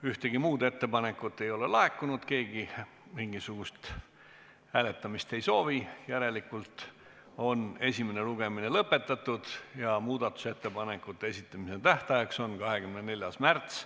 Ühtegi muud ettepanekut ei ole laekunud, keegi mingisugust hääletamist ei soovi, järelikult on esimene lugemine lõpetatud ja muudatusettepanekute esitamise tähtajaks on 24. märts kell 17.15.